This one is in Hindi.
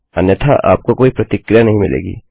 अन्यथा आपको कोई प्रतिक्रिया नहीं मिलेगी